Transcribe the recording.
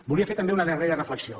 volia fer també una darrera reflexió